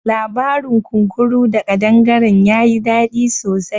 Labarin kunkuru da ƙadangaren ya yi dadi sosai.